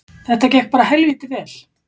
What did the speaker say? Þetta gekk bara helvíti vel